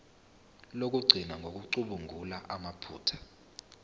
lokugcina ngokucubungula amaphutha